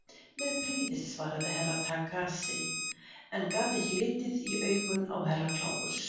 Með prýði, svaraði Herra Takashi en gat ekki litið í augun á Herra Kláus.